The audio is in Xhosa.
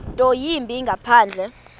nto yimbi ngaphandle